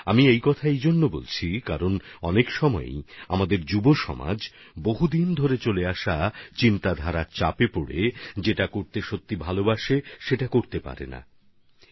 আমি এমন কথা এজন্য বলছি কেন না অনেক বার আমাদের নবীন প্রজন্ম এক চলতি ভাবনার চাপে নিজেদের সেই কাজগুলিই করতে পারেন না যেগুলি তাঁদের খুবই পছন্দের